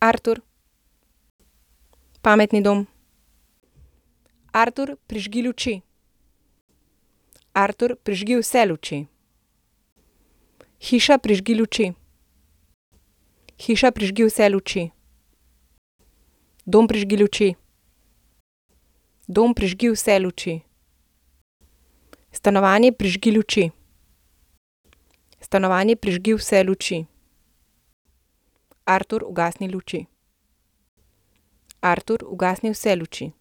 Artur. Pametni dom. Artur, prižgi luči. Artur, prižgi vse luči.